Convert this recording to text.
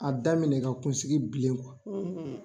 A daminɛ ka kunsigi bilen